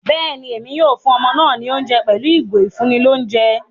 Béèni, Èmí yóò fún ọmọ náà ní oúnjẹ pẹlu ìgò ifunni l'ounjẹ